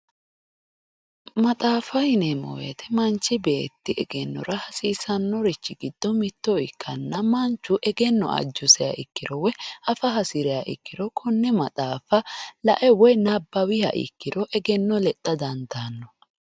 Maxaafa yineemmo woyte manchi beetti egennora hasiisanorichi giddo mitto ikkanna manchu egenno ajusiha ikkiro woyi afa hasiriha ikkiro konne maxaafa lae woyi nabbawiha ikkiro egenno lexxa dandaano.